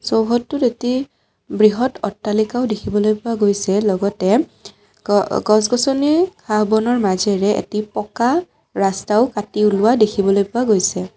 চৌহদটোত এটি বৃহৎ অট্টালিকাও দেখিবলৈ পোৱা গৈছে লগতে গ আ গছ-গছনি ঘাঁহ বনৰ মাজেৰে এটি পকা ৰাস্তাও কাটি ওলোৱা দেখিবলৈ পোৱা গৈছে |